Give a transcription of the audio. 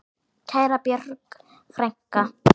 Kæra Björg frænka.